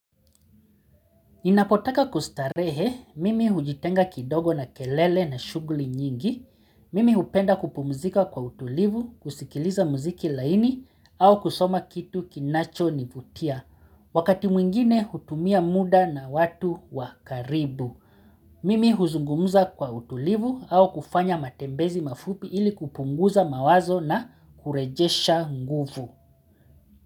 Ninapotaka kustarehe, mimi hujitenga kidogo na kelele na shuguli nyingi, mimi hupenda kupumzika kwa utulivu, kusikiliza muziki laini, au kusoma kitu kinacho nivutia, wakati mwingine hutumia muda na watu wakaribu. Mimi huzungumza kwa utulivu au kufanya matembezi mafupi ili kupunguza mawazo na kurejesha nguvu.